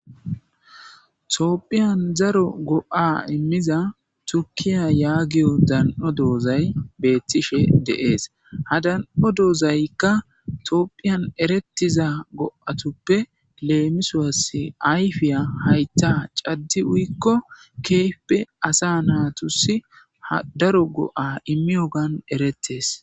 Toophiyan zaro go'a immiza turkiya yaagiyo dan'o doozay beettishe deees ha dan'o doozaykka toopphiyan erettiza go'atuppe leemisuwas ayfiya haytta caddi uyikko keefpe asa naatusi ha daro go'a immiyo gan erettes.